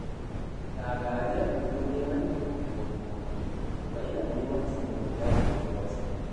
Shagari yakan zo neman taimako wurina, kuma ina yi masa saboda jajircewarsa